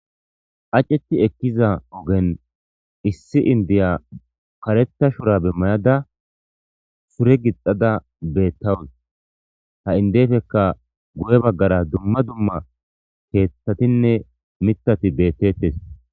Aceti ekkiza ogen issi indiya karetta shura be mayada sure gixada beettawus ha indefekka gu'e baggara dumma dumma keeththatinne mitati bettettes.